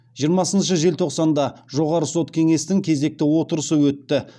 жиырмасыншы желтоқсанда жоғары сот кеңестің кезекті отырысы өтті